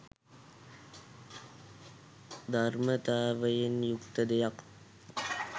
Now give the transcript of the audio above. ධර්මතාවයෙන් යුක්ත දෙයක්